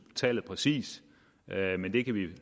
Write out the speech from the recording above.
tallet præcist men det kan vi jo